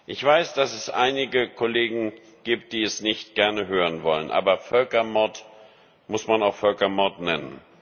Ich weiß, dass es einige Kollegen gibt, die es nicht gerne hören wollen, aber Völkermord muss man auch Völkermord nennen.